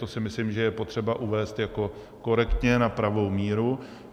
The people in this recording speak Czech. To si myslím, že je potřeba uvést jako korektně na pravou míru.